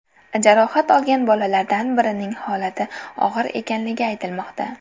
Jarohat olgan bolalardan birining holati og‘ir ekanligi aytilmoqda.